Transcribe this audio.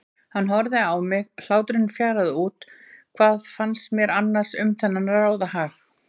Hann horfði á mig, hláturinn fjaraði út, hvað fannst mér annars um þennan ráðahag?